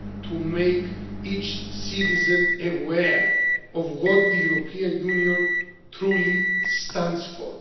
to make each citizen aware of what the European Union truly stands for.